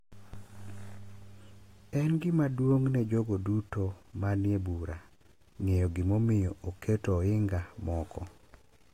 En gima duong’ ne jogo duto ma ni e bura ng’eyo gimomiyo oketo ohinga moko .